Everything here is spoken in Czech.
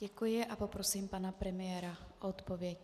Děkuji a poprosím pana premiéra o odpověď.